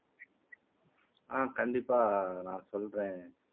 ஆஹ் கண்டிப்பா நான் சொல்றேன்